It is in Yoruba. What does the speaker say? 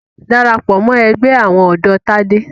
Darapọ̀ mọ́ ẹgbẹ́ àwọn ọ̀dọ́ Tádé!